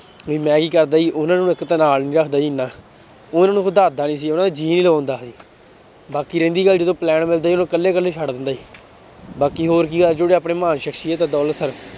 ਵੀ ਮੈਂ ਕੀ ਕਰਦਾ ਸੀ ਉਹਨਾਂ ਨੂੰ ਇੱਕ ਤਾਂ ਨਾਲ ਨੀ ਰੱਖਦਾ ਸੀ ਇੰਨਾ, ਉਹਨਾਂ ਨੂੰ ਵੀ ਸੀ ਉਹਨਾਂਂ ਦਾ ਜੀਅ ਲਵਾਉਂਦਾ ਸੀ ਬਾਕੀ ਰਹਿੰਦੀ ਗੱਲ ਜਦੋਂ plan ਮਿਲਦੇ ਸੀ, ਉਦੋਂ ਇਕੱਲੇ ਇਕੱਲੇ ਛੱਡ ਦਿੰਦੇ, ਬਾਕੀ ਹੋਰ ਕੀ ਆ ਜਿਹੜੇ ਆਪਣੇ ਮਹਾਨ ਸਕਸ਼ੀਅਤ ਆ ਦੌਲਤ ਸਰ